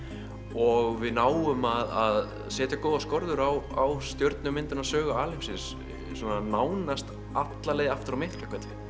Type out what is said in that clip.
og við náum að setja góðar skorður á á sögu alheimsins svona nánast alla leið aftur að Miklahvelli